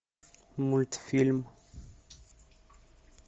мультфильм